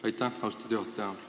Aitäh, austatud juhataja!